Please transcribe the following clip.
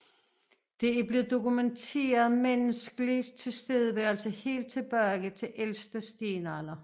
Der er blevet dokumenteret menneskelig tilstedeværelse helt tilbage til ældste stenalder